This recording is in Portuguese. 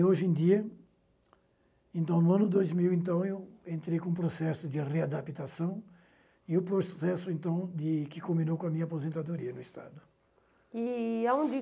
E hoje em dia, então, no ano dois mil, então, eu entrei com o processo de readaptação e o processo, então de, que culminou com a minha aposentadoria no Estado. E aonde